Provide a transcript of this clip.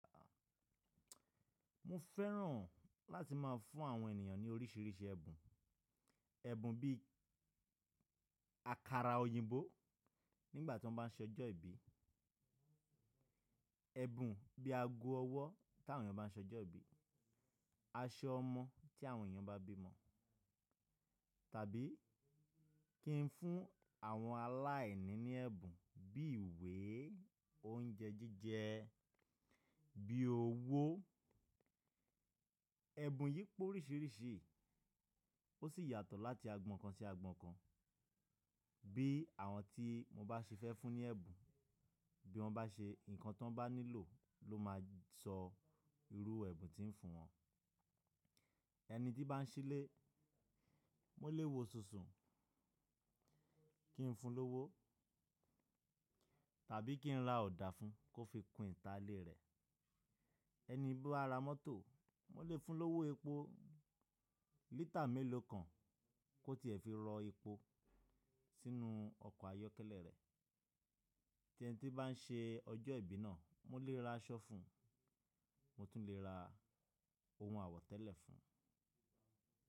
Mo fẹ́ràn láti má a fún àwọn ènìyàn ní oríṣìíríṣìí ẹ̀bùn. Ẹ̀bùn bí àkàrà òyìnbó nígbà tí wọ́n bá ń ṣọjọ́ ìbí, ẹ̀bùn bí ago ọwọ́ tí àwọn ènìyàn bá ń ṣọjọ́ ìbí, aṣọ ọmọ tí àwọn ènìyàn bá bímo, tàbí kí ń fún àwọn aláìní ní ẹ̀bùn bí ìwé, oúnjẹ jíjẹ, bí owó. Ẹ̀bùn yí po oríṣìíríṣìí ó sì yàtọ̀ láti agbọn kan sí agbọn kan. Bí àwọn tí mo bá ṣe fẹ́ fún ní ẹ̀bùn, bí wọ́n bá ṣe nǹkan tí wọ́n bá nílò ló máa sọ irú ẹ̀bùn tí ń fún wọ́n. Ẹni tí bá ń ṣílè, mo lè wo sùnsun kí ń fun lówo tàbí kí ń ra ọ̀dà fún un kó fi kún ìta ilé rẹ̀. Ẹni bá ra mọ́tò, mo lè fun lówo epo lítà mélòó kan kó tiẹ̀ fi rọ epo sínú ọkọ̀ ayọ́kẹ́lẹ́ rẹ̀. Tí ẹni tí bá ń ṣe ọjọ́ ìbí náà, mo lè ra aṣọ fún un, mo tún lè ra ohun àwọ̀tẹ́lẹ̀ fún un.